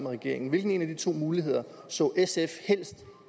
regering hvilken af de to muligheder så sf helst